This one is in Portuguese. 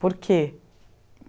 Por quê?